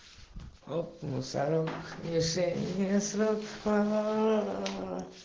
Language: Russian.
хоп мусорок не шей мне срок аа